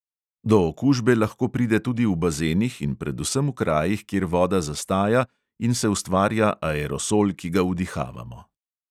Do okužbe lahko pride tudi v bazenih in predvsem krajih, kjer voda zastaja in se ustvarja aerosol, ki ga vdihavamo.